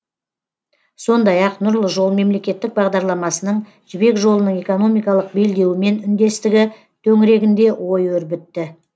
сондай ақ нұрлы жол мемлекеттік бағдарламасының жібек жолының экономикалық белдеуімен үндестігі төңірегінде ой өрбітті